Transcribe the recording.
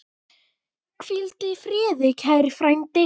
Hvíldu í friði kæri frændi.